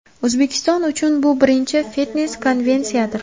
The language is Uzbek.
O‘zbekiston uchun bu birinchi fitnes-konvensiyadir.